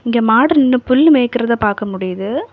இங்கேகெ மாடு நின்னு புல்லு மேய்க்கிறத பாக்க முடியுது.